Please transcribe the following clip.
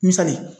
Misali